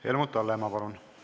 Helmut Hallemaa, palun!